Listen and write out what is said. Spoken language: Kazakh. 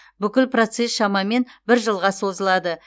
бүкіл процесс шамамен бір жылға созылады